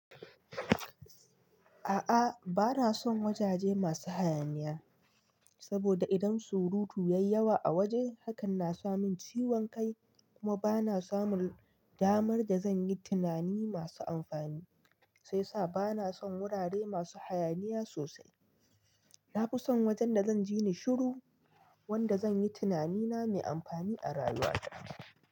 A'a bana son wajaje masu hayaniya, saboda idan surutu yayi yawa a waje hakan na samin ciwon kai kuma bana samun damar da zan yi tunani masu amfani, sai sa bana son wurare masu hayaniya sosai. Na fi son wajen da zan ji ni shiru, wanda zan yi tunanina mai amfani a rayuwa ta.